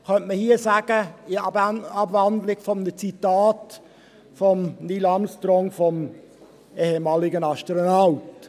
Dies könnte man hier in Abwandlung eines Zitats von Neil Armstrong, dem ehemaligen Astronauten, sagen.